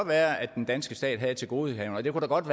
være at den danske stat havde et tilgodehavende og at det godt